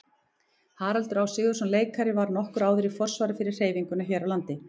Haraldur Á. Sigurðsson leikari var nokkru áður í forsvari fyrir hreyfinguna hér á landi.